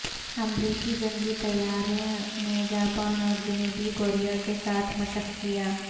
امریکی جنگی طیارں نے جاپان اور جنوبی کوریا کے ساتھ مشق کیا